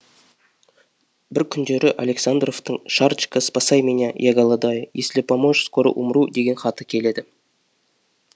бір күндері александровтың шарочка спасай меня я голодаю если поможешь скоро умру деген хаты келеді